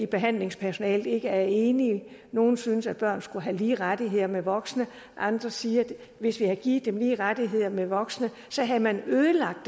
behandlingspersonalet ikke er enige nogle synes at børn skulle have lige rettigheder med voksne andre siger at hvis vi havde givet dem lige rettigheder med voksne havde man ødelagt